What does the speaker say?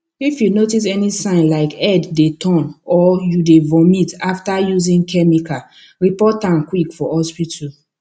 if you notice any sign like head dey turn or you dey vomit after using chemical report am quick for hospital